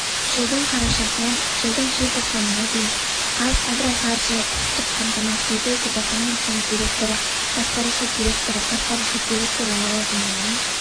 жылдың қарашасынан жылдың желтоқсанына дейін қазагроқаржы құқықтық қамтамасыз ету департаментінің директоры басқарушы директоры атқарушы директоры лауазымдарын